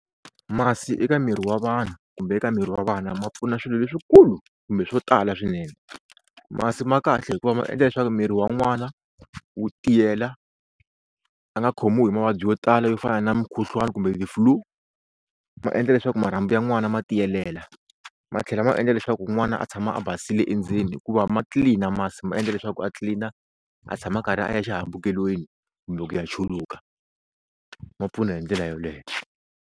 Masi eka miri wa vanhu kumbe eka miri wa vana ma pfuna swilo leswikulu kumbe swo tala swinene. Masi ma kahle hikuva ma endla leswaku miri wa n'wana wu tiyela a nga khomiwi hi mavabyi yo tala yo fana na mukhuhlwani kumbe ti-flue. Ma endla leswaku marhambu ya n'wana ma tiyelela, ma tlhela ma endla leswaku n'wana a tshama a basile endzeni hikuva ma tlilina masi ma endla leswaku a tlilina a tshama a karhi a ya xihambukelweni kumbe ku ya chuluka, ma pfuna hi ndlela yoleyo.